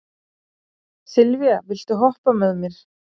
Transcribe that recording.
Sylvía, viltu hoppa með mér?